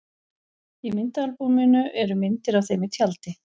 Í myndaalbúminu eru myndir af þeim í tjaldi.